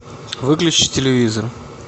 выключи телевизор